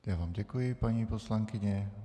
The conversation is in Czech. Já vám děkuji, paní poslankyně.